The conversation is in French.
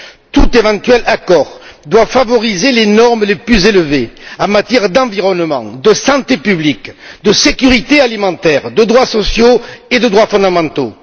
Tout éventuel accord doit favoriser les normes les plus élevées en matière d'environnement, de santé publique, de sécurité alimentaire, de droits sociaux et de droits fondamentaux